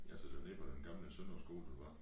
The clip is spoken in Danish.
Ja så det var nede på den gamle Sønder skole du var